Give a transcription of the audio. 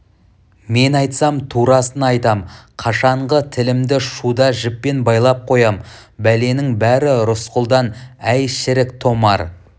мен айтсам турасын айтам қашанғы тілімді шуда жіппен байлап қоям бәленің бәрі рысқұлдан әй шірік томар